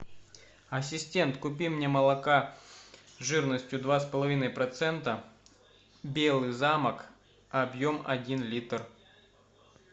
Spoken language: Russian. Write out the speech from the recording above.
ассистент купи мне молока жирностью два с половиной процента белый замок объем один литр